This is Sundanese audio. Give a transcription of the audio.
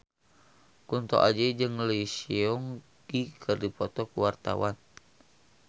Kunto Aji jeung Lee Seung Gi keur dipoto ku wartawan